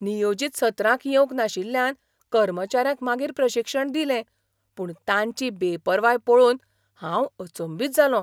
नियोजीत सत्रांक येवंक नाशिल्ल्यान कर्मचाऱ्यांक मागीर प्रशिक्षण दिलें पूण तांची बेपरवाय पळोवन हांव अचंबीत जालों.